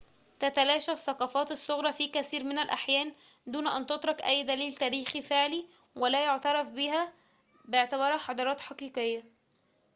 تتلاشى الثقافات الصغرى في كثير من الأحيان دون أن تترك أي دليل تاريخي فعلي ولا يُعترف بها باعتبارها حضارات حقيقية